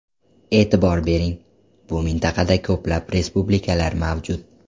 E’tibor bering, bu mintaqada ko‘plab respublikalar mavjud.